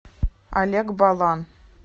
олег балан